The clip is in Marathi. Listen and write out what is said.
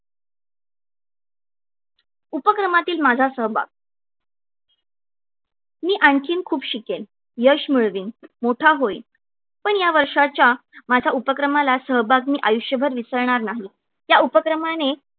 उपक्रमांतील माझा सहभाग मी आणखीन खूप शकेन. यश मिळवीन मोठा होईन पण या वर्षाच्या माझ्या उपक्रमाला सहभाग मी आयुष्यभर विसरणार नाही. त्या उपक्रमाने